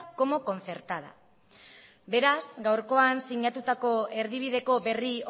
como concertada beraz gaurkoan sinatutako erdibideko berri